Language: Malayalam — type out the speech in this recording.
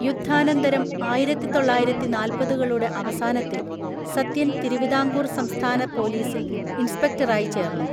യുദ്ധാനന്തരംആയിരത്തി തൊള്ളായിരത്തി നാൽപതുകളുടെ അവസാനത്തിൽ സത്യൻ തിരുവിതാംകൂർ സംസ്ഥാന പോലീസിൽ ഇൻസ്പെക്ടറായി ചേർന്നു.